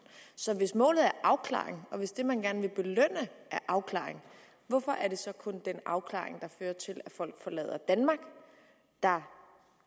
så hvis målet er afklaring og hvis det man gerne vil belønne er afklaring hvorfor er det så kun den afklaring der fører til at folk forlader danmark der